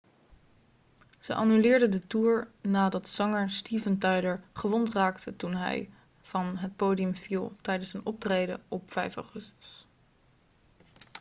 ze annuleerden de toer nadat zanger steven tyler gewond raakte toen hij van het podium viel tijdens een optreden op 5 augustus